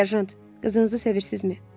Serjant, qızınızı sevirsizmi?